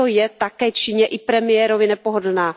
Proto je také Číně i premiérovi nepohodlná.